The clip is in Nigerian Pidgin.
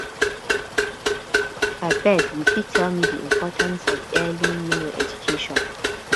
abeg u fit tell me di importance of early um education